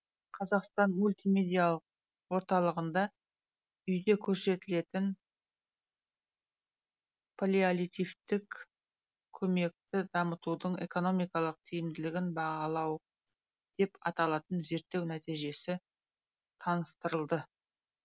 қазақстан мультимедиялық орталығында үйде көрсетілетін паллиативтік көмекті дамытудың экономикалық тиімділігін бағалау деп аталатын зерттеу нәтижесі таныстырылды